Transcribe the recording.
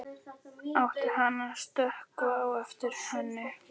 Átti hann að stökkva á eftir henni?